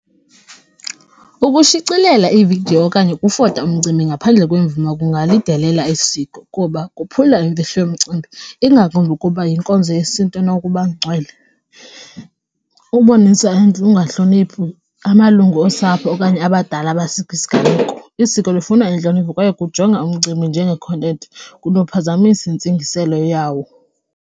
Ukushicilela iividiyo okanye ukuvota umcimbi ngaphandle kwemvume kungalidelela isiko kuba kophula imfihlo yomcimbi ingakumbi ukuba yinkonzo yesiNtu enokuba ngcwele, ubonisa ukungahloniphi amalungu osapho okanye abadala isiganeko, isiko lifuna intlonipho kwaye kujonga umcimbi njengekhontenti kunophazamisa intsingiselo yawo.